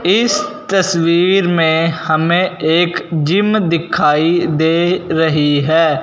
इस तस्वीर में हमें एक जिम दिखाई दे रही है।